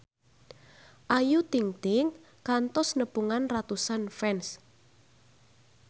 Ayu Ting-ting kantos nepungan ratusan fans